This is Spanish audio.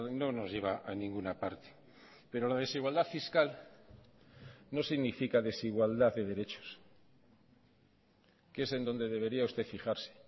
no nos lleva a ninguna parte pero la desigualdad fiscal no significa desigualdad de derechos que es en donde debería usted fijarse